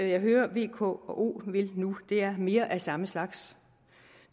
jeg hører v k og o vil nu er mere af samme slags